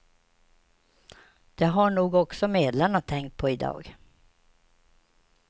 Det har nog också medlarna tänkt på i dag.